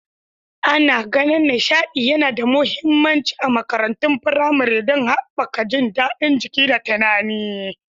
Ana ganin nishaɗi yana da mahimmanci a makarantun firamare don haɓaka jin daɗin jiki da tunani.